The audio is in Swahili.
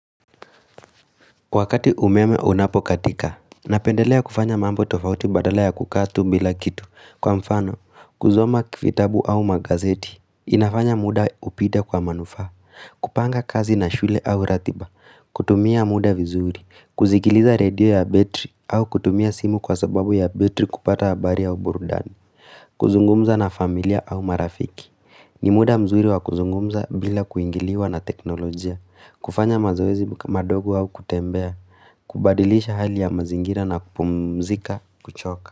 Wakati umeme unapokatika, napendelea kufanya mambo tofauti badala ya kukaa tu bila kitu. Kwa mfano, kusoma vitabu au magazeti, inafanya muda upite kwa manufaa, kupanga kazi na shule au ratiba, kutumia muda vizuri, kusikiliza radio ya betri au kutumia simu kwa sababu ya betri kupata habari au burudani, kuzungumza na familia au marafiki, ni muda mzuri wa kuzungumza bila kuingiliwa na teknolojia, kufanya mazoezi madogo au kutembea kubadilisha hali ya mazingira na kupumzika kuchoka.